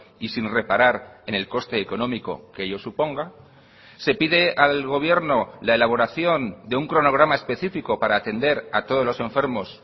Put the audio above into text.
y sin reparar en el coste económico que ello suponga se pide al gobierno la elaboración de un cronograma específico para atender a todos los enfermos